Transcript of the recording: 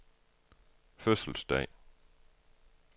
fødselsdag